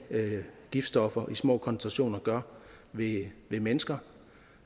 giftstoffer i små koncentrationer gør ved mennesker